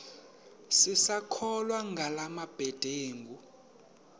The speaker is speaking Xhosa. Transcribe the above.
sisakholwa ngala mabedengu